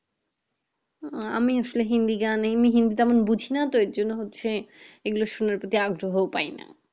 আমি আসলে হিন্দি গান এমনি হিন্দি তেমন বুঝি না এর জন্য হচ্ছে এইগুলো সোনার প্রতি আগ্রহ পাই না